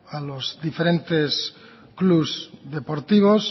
a los diferentes clubs deportivos